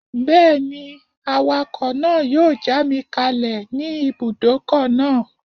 Bẹ́ẹ̀ni, awakọ̀ náà yóò já mi kalẹ̀ ní ibùdókọ̀ náà